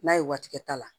N'a ye waati kɛ ta la